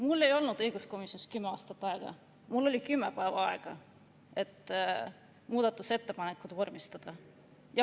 Mul ei olnud õiguskomisjonis kümme aastat aega, mul oli kümme päeva aega, et muudatusettepanekuid vormistada.